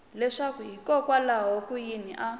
leswaku hikokwalaho ka yini a